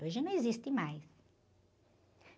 Hoje não existe mais.